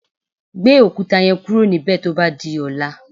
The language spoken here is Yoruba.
Gbé òkúta yẹn kúrò níbè tó bá di ọ̀la.